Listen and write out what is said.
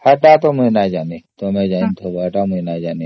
ଏଇଟା ମୁଁ ତ ଜାଣିନି